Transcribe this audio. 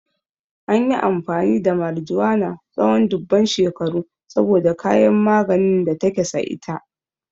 An yi amfani da marijuana tsawon dubban shekaru saboda kayan maganin da take sa ita.